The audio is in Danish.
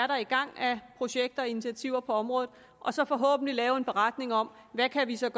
der er i gang af projekter og initiativer på området og så forhåbentlig lave en beretning om hvad vi så